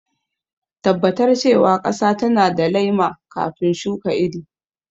Tabbatar cewa ƙasa tana da laima kafin shuka iri..